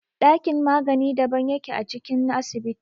Ɗakin magani daban yake a cikin asibiti.